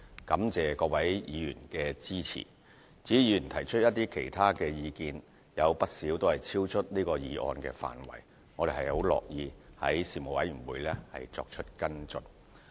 感謝各位議員的支持，至於議員提出的其他意見，有不少超出了這議案的範圍，我們很樂意於事務委員會作出跟進。